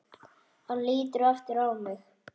Hann lítur aftur á mig.